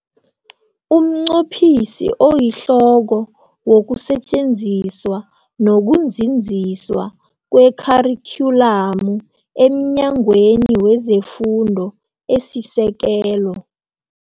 UmNqophisi oyiHloko wokuSetjenziswa noku Nzinziswa kweKharikhyulamu emNyangweni weze Fundo esiSekelo